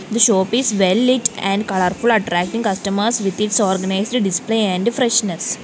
the shop is well lit and colourful attracting customers with its organised display and freshness.